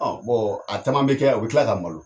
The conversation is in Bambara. Ɔn a caman be kɛ u bi kila ka malo.